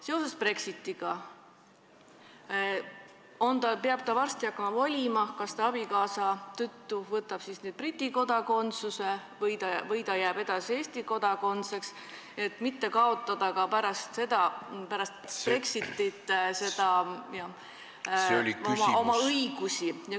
Seoses Brexitiga peab ta hakkama varsti valima, kas ta võtab abikaasa tõttu Briti kodakondsuse või ta jääb edasi Eesti kodakondseks, et mitte ka pärast Brexitit oma õigusi kaotada.